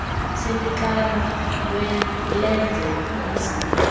sempixano lenze kwaziwe